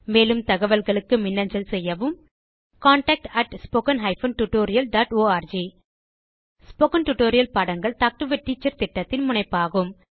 மேலும் தகவல்களுக்கு மின்னஞ்சல் செய்யவும் contact spoken hyphen tutorial dot org spoken tutorial பாடங்கள் டாக் டு எ டீச்சர் திட்டத்தின் முனைப்பாகும்